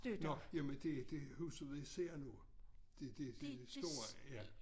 Nåh jamen det det huset ved siden af det det det store ja